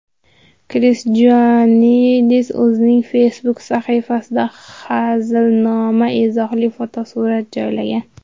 Kris Joanidis o‘zining Facebook sahifasida hazilnamo izohli fotosurat joylagan.